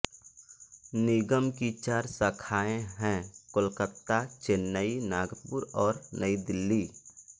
निगम की चार शाखाएं हैं कोलकाता चेन्नई नागपुर और नई दिल्ली